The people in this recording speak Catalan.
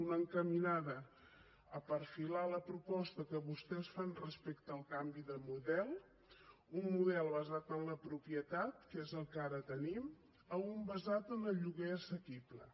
una encaminada a perfilar la proposta que vostès fan respecte al canvi de model d’un model basat en la propietat que és el que ara tenim a un basat en el lloguer assequible